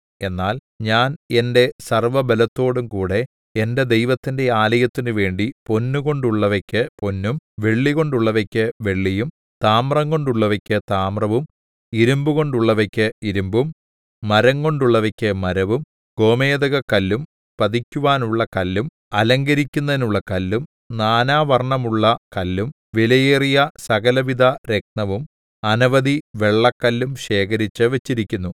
എന്നാൽ ഞാൻ എന്റെ സർവ്വബലത്തോടും കൂടെ എന്റെ ദൈവത്തിന്റെ ആലയത്തിന് വേണ്ടി പൊന്നുകൊണ്ടുള്ളവയ്ക്ക് പൊന്നും വെള്ളികൊണ്ടുള്ളവയ്ക്ക് വെള്ളിയും താമ്രംകൊണ്ടുള്ളവയ്ക്ക് താമ്രവും ഇരിമ്പുകൊണ്ടുള്ളവയ്ക്ക് ഇരിമ്പും മരംകൊണ്ടുള്ളവയ്ക്ക് മരവും ഗോമേദകക്കല്ലും പതിക്കുവാനുള്ള കല്ലും അലങ്കരിക്കുന്നതിനുള്ള കല്ലും നാനാവർണ്ണമുള്ള കല്ലും വിലയേറിയ സകലവിധ രത്നവും അനവധി വെള്ളക്കല്ലും ശേഖരിച്ചു വെച്ചിരിക്കുന്നു